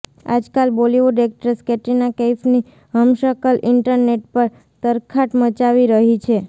આજકાલ બોલિવુડ એક્ટ્રેસ કેટરીના કૈફની હમશકલ ઈન્ટરનેટ પર તરખાટ મચાવી રહી છે